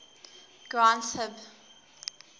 granth hib